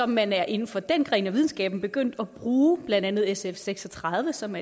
man er inden for den gren af videnskaben begyndt at bruge blandt andet sf seks og tredive som